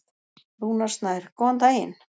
Rúnar Snær: Góðan daginn.